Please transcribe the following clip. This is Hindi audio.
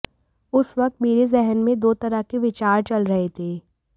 उस वक्त मेरे जेहन में दो तरह के विचार चल रहे थे